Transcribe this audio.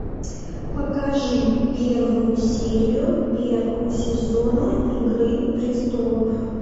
покажи первую серию первого сезона игры престолов